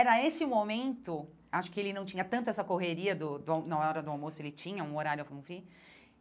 Era esse momento, acho que ele não tinha tanto essa correria do da na hora do almoço, ele tinha um horário a cumprir,